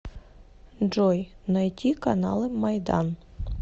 джой найти каналы майдан